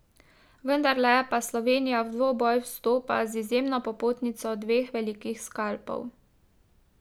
Vendarle pa Slovenija v dvoboj vstopa z izjemno popotnico dveh velikih skalpov.